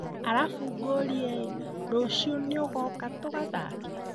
Alafu ngũrie rũciũ niũgoka tugathake?